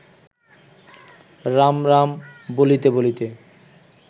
রাম রাম বলিতে বলিতে